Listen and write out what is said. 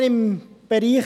Massnahmen im Bereich